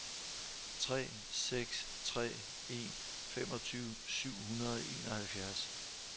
tre seks tre en femogtyve syv hundrede og enoghalvfjerds